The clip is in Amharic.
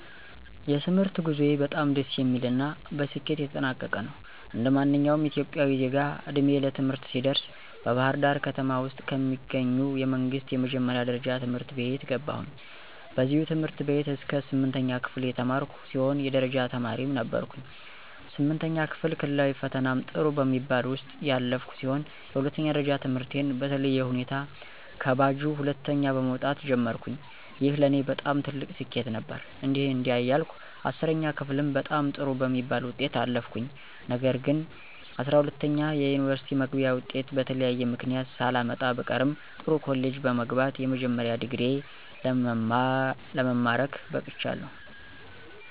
የትምህርት ጉዞዬ በጣም ደስ የሚል እና በስኬት የተጠናቀቀ ነው። እንደማንኛውም ኢትዮጵያዊ ዜጋ ዕድሜዬ ለትምህርት ሲደርስ በባህርዳር ከተማ ውስጥ ከሚገኙ የመንግስት የመጀመሪያ ደረጃ ትምህርት ቤት ገባሁኝ። በዚህ ትምህርት ቤት እስከ ስምንተኛ ክፍል የተማርኩ ሲሆን የደረጃ ተማሪም ነበርኩኝ። ስምንተኛ ክፍል ክልላዊ ፈተናም ጥሩ በሚባል ውጤት ያለፍኩ ሲሆን የሁለተኛ ደረጃ ትምህርቴን በተለየ ሁኔታ ከባጁ ሁለተኛ በመወጣት ጀመርኩኝ። ይህ ለኔ በጣም ትልቅ ስኬት ነበር። እንዲህ እንዲያ እያልኩ 10ኛ ክፍልም በጣም ጥሩ በሚባል ውጤት አለፍኩኝ። ነገር ግንጰ12ኛ የዩኒቨርስቲ መግቢያ ወጤት በተለያየ ምክንያት ሳላመጣ ብቀርም ጥሩ ኮሌጅ በመግባት የመጀመሪያ ዲግሪየ ለመማረክ በቅቻለሁ።